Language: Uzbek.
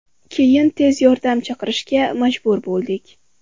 Keyin tez yordam chaqirishga majbur bo‘ldik.